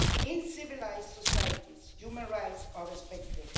In civilized societies, human rights are respected.